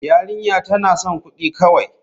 Yarinya tana son kudi kawai.